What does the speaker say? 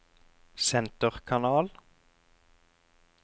senterkanal